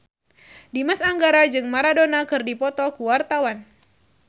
Dimas Anggara jeung Maradona keur dipoto ku wartawan